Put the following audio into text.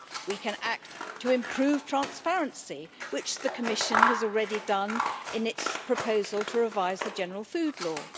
We can act to improve transparency, which the Commission has already done in its proposal to revise the general food law.